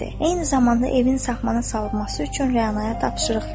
Eyni zamanda evin saxmana salınması üçün rənaya tapşırıq verdi.